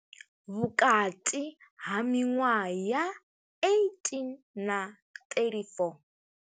Vhukati ha miṅwaha ya 18 na 34.